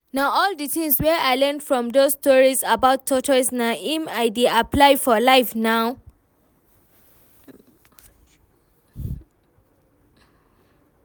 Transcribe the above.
Na all the things wey I learn from doz stories about tortoise na im I dey apply for life now